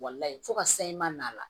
Walayi fo ka sayi ma la